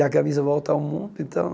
E a camisa volta ao mundo, então